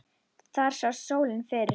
Þar sást sólin fyrr.